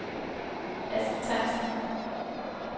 Aske Thaysen